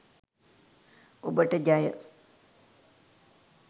ඔබට ජය !